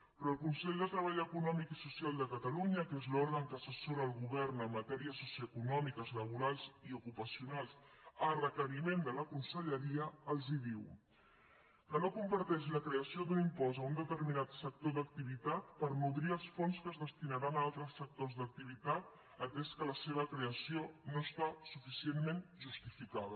però el consell de treball econòmic i social de catalunya que és l’òrgan que assessora el govern en matèries socioeconòmiques laborals i ocupacionals a requeriment de la conselleria els diu que no comparteix la creació d’un impost a un determinat sector d’activitat per nodrir els fons que es destinaran a altres sectors d’activitat atès que la seva creació no està suficientment justificada